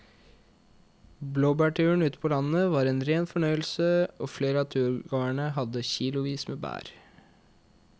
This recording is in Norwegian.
Blåbærturen ute på landet var en rein fornøyelse og flere av turgåerene hadde kilosvis med bær.